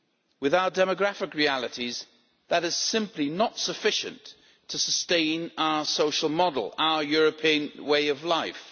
With our demographic realities, that is simply not sufficient to sustain our social model, our European way of life.